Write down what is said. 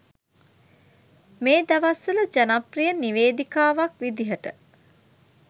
මේ දවස්වල ජනප්‍රිය නිවේදිකාවක් විදිහට